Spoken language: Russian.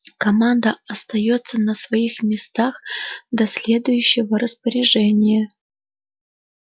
команда остаётся на своих местах до следующего распоряжения